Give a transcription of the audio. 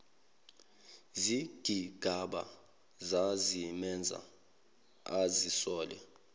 zigigaba zazimenza azisole